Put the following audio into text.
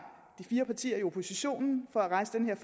de fire partier i oppositionen for at rejse den her